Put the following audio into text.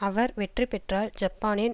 அவர் வெற்றி பெற்றால் ஜப்பானின்